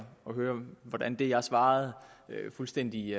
høre hvordan det jeg svarede fuldstændig